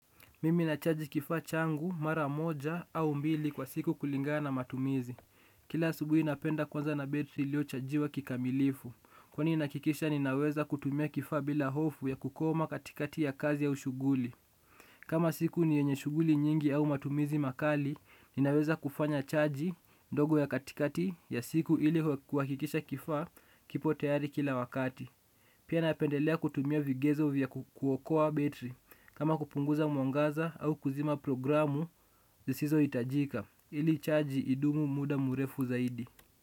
Mimi nachaji kifaa changu mara moja au mbili kwa siku kulingaa na matumizi. Kila asubuhi napenda kuanza na betri ilio chajiwa kikamilifu. Kwani nahakikisha ninaweza kutumia kifaa bila hofu ya kukoma katikati ya kazi au shuguli. Kama siku ni yenye shuguli nyingi au matumizi makali, ninaweza kufanya chaji ndogo ya katikati ya siku ili kuhakikisha kifaa kipo tayari kila wakati. Pia napendelea kutumia vigezo vya kuokoa betri. Kama kupunguza mwangaza au kuzima programu, zisizo itajika ili chaji idumu muda murefu zaidi.